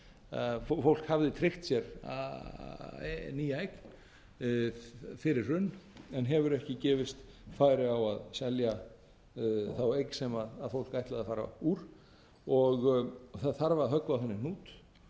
að fólk hafði tryggt sér nýja eign fyrir hrun en hefur ekki gefist færi á að selja þá eign sem fólk ætlaði að fara úr og það þarf að höggva á þennan hnút